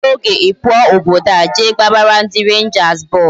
Obere oge I pụọ obodo a je gbabara ndị Rangers bọọlụ